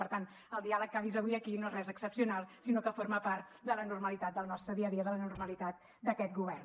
per tant el diàleg que ha vist avui aquí no és res excepcional sinó que forma part de la normalitat del nostre dia a dia de la normalitat d’aquest govern